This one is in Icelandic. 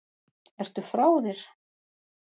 Ertu frá þér??